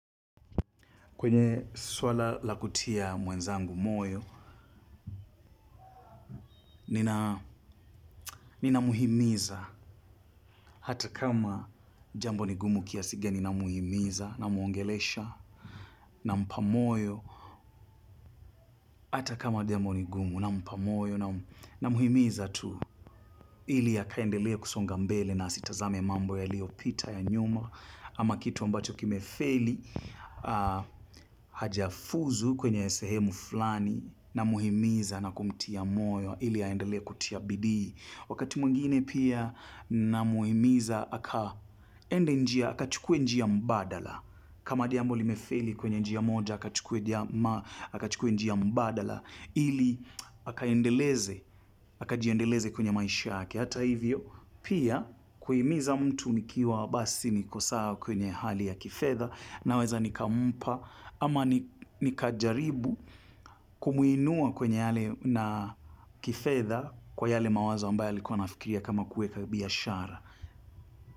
Kwenye swala la kutia mwenzangu moyo, ninamhimiza hata kama jambo ni gumu kiasi gani namhimiza namwongelesha nampa moyo. Hata kama jambo ni gumu nampa moyo namhimiza tu ili akaendelee kusonga mbele na asitazame mambo yaliyopita ya nyuma. Ama kitu ambacho kimefeli hajafuzu kwenye sehemu fulani namhimiza na kumtia moyo ili aendelee kutia bidii. Wakati mwingine pia ninamhimiza akaende njia akachukue njia mbadala. Kama jambo limefeli kwenye njia moja akachukue njia mbadala ili akaendeleze akajiendeleze kwenye maisha yake. Hata hivyo, pia kuhimiza mtu nikiwa basi niko sawa kwenye hali ya kifedha naweza nikampa ama nikajaribu kumuinua kwenye yale na kifedha kwa yale mawazo ambayo alikuwa anafikiria kama kuweka biashara.